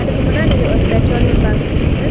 இதுக்கு முன்னாடி ஒரு பெட்ரோலியம் பங்க் இருக்கு.